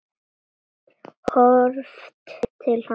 Horft til hafs.